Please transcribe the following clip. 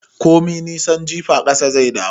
Komin nisan jifa ƙasa zai dawo